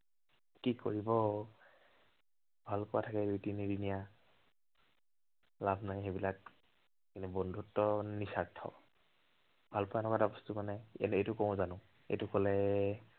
কি কৰিব। ভালপোৱা থাকে দুই- তিনিদিনীয়া লাভ নাই সেইবিলাক। খালি বন্ধুত্ব হল নিস্বাৰ্থ। ভালপোৱা এনেকুৱা বস্তু মানে, এইটো কলে